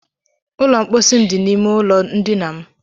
Ụlọ mkpọsi m dị n'ime ụlọ ndina m.